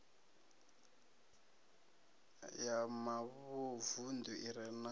ya mavunḓu i re na